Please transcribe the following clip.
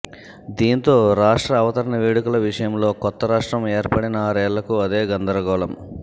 దీంతో రాష్ట్ర అవతరణ వేడుకల విషయంలో కొత్త రాష్ట్రం ఏర్పడిన ఆరేళ్లకూ అదే గందరగోళం